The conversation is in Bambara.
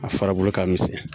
A farabulu ka misɛn.